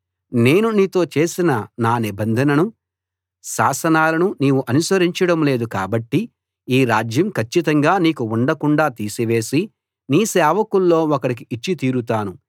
నేను నీతో చేసిన నా నిబంధనను శాసనాలను నీవు ఆచరించడం లేదు కాబట్టి ఈ రాజ్యం కచ్చితంగా నీకు ఉండకుండాా తీసివేసి నీ సేవకుల్లో ఒకడికి ఇచ్చి తీరుతాను